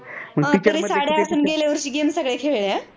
पण साड्या असून गेल्यावर्षी game सगळ्या खेळल्या अह